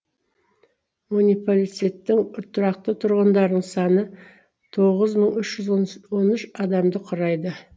мунипалицеттің тұрақты тұрғындарының саны тоғыз мың үш жүз он үш адамды құрайды